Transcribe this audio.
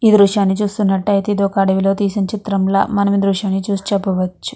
ఈ దృశ్యం చుస్తునాటు అయతె ఇది ఒక అడివిలో తెసిన చిత్రం ల మనం ఈ దృశ్యం చూసి చెప్పవచు.